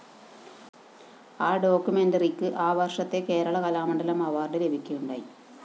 ആ ഡോക്യുമെന്ററിക്ക് ആ വര്‍ഷത്തെ കേരള കലാമണ്ഡലം അവാർഡ്‌ ലഭിക്കുകയുണ്ടായി